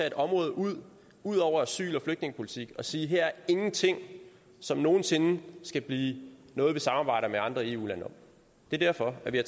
et område ud ud over asyl og flygtningepolitik og sige her er ingenting som nogen sinde skal blive noget vi samarbejder med andre eu lande om det er derfor at vi har